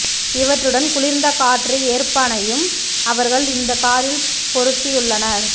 இவற்றுடன் குளிர்ந்த காற்று ஏற்பானையும் அவர்கள் இந்த காரில் பொருத்தியுள்ளனர்